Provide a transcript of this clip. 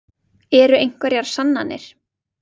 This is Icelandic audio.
Eru einhverjar sannanir?